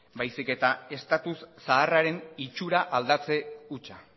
baizik eta status zaharraren itxura aldatze hutsa